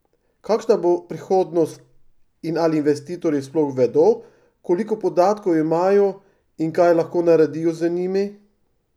Kakšna bo prihodnost in ali investitorji sploh vedo, koliko podatkov imajo in kaj lahko naredijo z njimi?